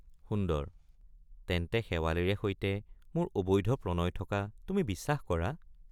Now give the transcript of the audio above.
সুন্দৰ—তেন্তে শেৱালিৰে সৈতে মোৰ অবৈধ প্ৰণয় থকা তুমি বিশ্বাস কৰা?